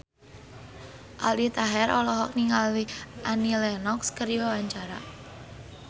Aldi Taher olohok ningali Annie Lenox keur diwawancara